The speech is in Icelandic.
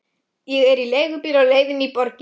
Ég er í leigubíl á leiðinni inn í borgina.